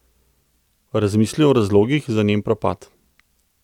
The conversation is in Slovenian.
Razmisli o razlogih za njen propad.